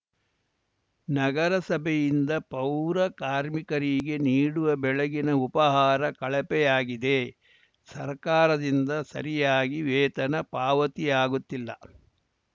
ನಗರಸಭೆಯಿಂದ ಪೌರ ಕಾರ್ಮಿಕರಿಗೆ ನೀಡುವ ಬೆಳಗಿನ ಉಪಹಾರ ಕಳಪೆಯಾಗಿದೆ ಸರ್ಕಾರದಿಂದ ಸರಿಯಾಗಿ ವೇತನ ಪಾವತಿಯಾಗುತ್ತಿಲ್ಲ